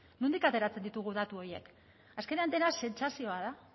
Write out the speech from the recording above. nondik ateratzen ditugu datu horiek azkenean dena sentsazioa da